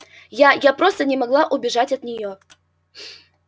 я я просто не могла убежать от неё